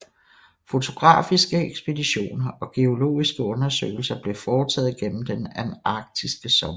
Fotografiske ekspeditioner og geologiske undersøgelser blev foretaget gennem den antarktiske sommer